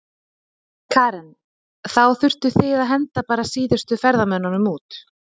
Karen: Þá þurftuð þið að henda bara síðustu ferðamönnunum út?